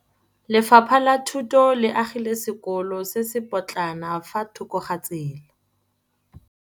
Lefapha la Thuto le agile sekôlô se se pôtlana fa thoko ga tsela.